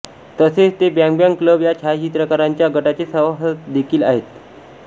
तसेच ते bang bang club या छायाचित्रकारांच्या गटाचे सभासद देखील होते